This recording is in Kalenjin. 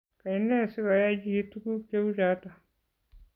Kaine sigoyay chii tuguk cheuchoto?